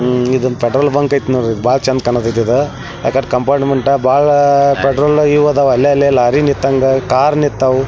ಮ್ಮ್ ಇದೊಂದ್ petrol bunk ಆಯ್ತ್ ಬಾಳ್ ಚೆಂದ್ ಕಾಣತೈತೆ ಇದ ಆಕಡ್ ಕಾಂಪೌಂಡ್ ಮಟ್ಟ ಬಾಳಾ ಪೆಟ್ರೋಲ್ ಅರಿಯೊದವ ಅಲ್ಲೇ ಅಲ್ಲೇ ಲಾರಿ ನಿತ್ತಂಗ ಕಾರ್ ನಿತ್ತಾವು --